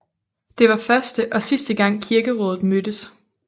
Det var første og sidste gang kirkerådet mødtes